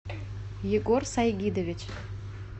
егор сайгидович